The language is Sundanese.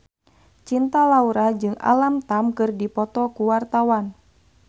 Cinta Laura jeung Alam Tam keur dipoto ku wartawan